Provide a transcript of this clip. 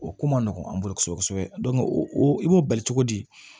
O ko man nɔgɔn an bolo kosɛbɛ kosɛbɛ o i b'o bali cogo di